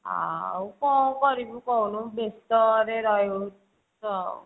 ଆଉ କଣ କରିବୁ କହୁନୁ ବେସ୍ତ ରେ ରହୁଛୁ ଆଉ